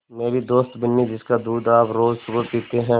मेरी दोस्त बिन्नी जिसका दूध आप रोज़ सुबह पीते हैं